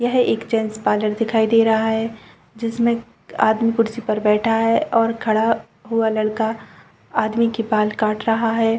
यह एक gents parlour दिखाई दे रहा है जिसमें आदमी कुर्सी पर बैठा है और खड़ा हुआ लड़का आदमी की बाल काट रहा हैं।